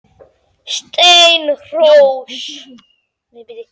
Steinrós, hringdu í Arnar eftir áttatíu og sex mínútur.